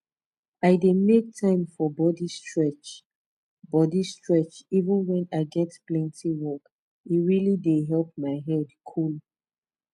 i dey make time for body stretch body stretch even when i get plenty work e really dey help my head cool